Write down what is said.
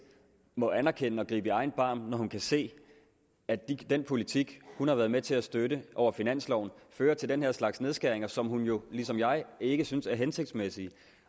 må anerkende det og gribe i egen barm når hun kan se at den politik hun har været med til støtte over finansloven fører til den her slags nedskæringer som hun jo ligesom jeg ikke synes er hensigtsmæssige